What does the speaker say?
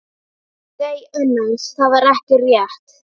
Nei annars, það var ekki rétt.